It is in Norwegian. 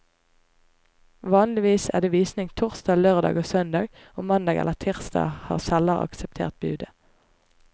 Vanligvis er det visning torsdag, lørdag og søndag, og mandag eller tirsdag har selger akseptert budet.